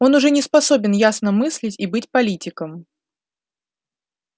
он уже не способен ясно мыслить и быть политиком